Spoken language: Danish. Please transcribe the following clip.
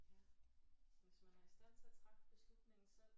Ja hvis man er i stand til at træffe beslutningen selv